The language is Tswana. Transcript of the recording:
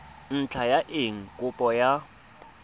ntlha ya eng kopo ya